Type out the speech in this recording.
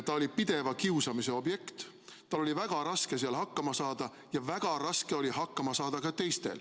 Ta oli pideva kiusamise objekt, tal oli väga raske seal klassis hakkama saada ja väga raske oli hakkama saada ka teistel.